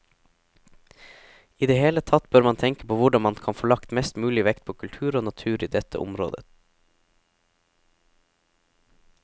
I det hele tatt bør man tenke på hvordan man kan få lagt mest mulig vekt på kultur og natur i dette området.